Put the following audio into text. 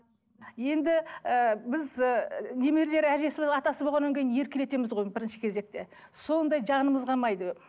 енді ы біз ыыы немерелер әжесі атасы болғаннан кейін еркелетеміз ғой бірінші кезекте сондай жанымыз қалмайды